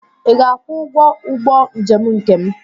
Ị ga-akwụ ụgwọ ụgbọ njem nke m?